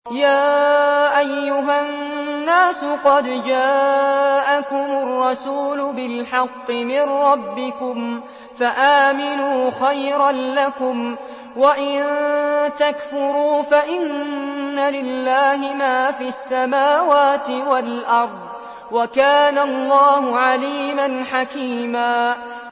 يَا أَيُّهَا النَّاسُ قَدْ جَاءَكُمُ الرَّسُولُ بِالْحَقِّ مِن رَّبِّكُمْ فَآمِنُوا خَيْرًا لَّكُمْ ۚ وَإِن تَكْفُرُوا فَإِنَّ لِلَّهِ مَا فِي السَّمَاوَاتِ وَالْأَرْضِ ۚ وَكَانَ اللَّهُ عَلِيمًا حَكِيمًا